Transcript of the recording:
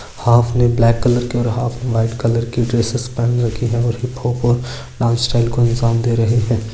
हाल्फ ने black colour की और हाल्फ ने व्हाइट कलर की ड्रेसेस पहन रखी है और हिप-हॉप और डांस स्टाइल को अंजाम दे रहे है।